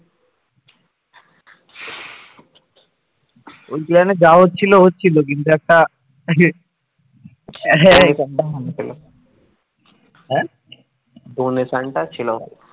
donation টা ছিল ভালো